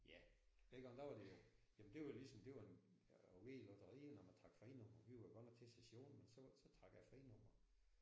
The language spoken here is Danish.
Ja dengang der var det jo jamen det var jo ligesom det var at vinde i lotteriet når man trak frinummer vi var jo godt nok til session men så så trak jeg frinummer